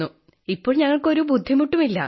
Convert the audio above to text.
ഇപ്പോൾ ഞങ്ങൾക്കൊരു ബുദ്ധിമുട്ടും ഇല്ല